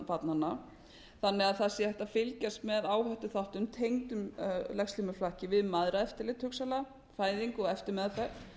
barnanna þannig að það sé hægt að fylgjast með áhættuþáttum tengdum legslímuflakki við mæðraeftirlit hugsanlega fæðingu og eftirmeðferð